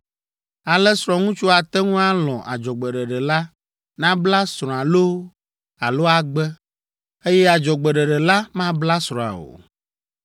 Ale srɔ̃ŋutsu ate ŋu alɔ̃ adzɔgbeɖeɖe la nabla srɔ̃a loo alo agbe, eye adzɔgbeɖeɖe la mabla srɔ̃a o.